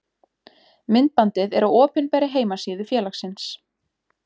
Myndbandið er á opinberri heimasíðu félagsins.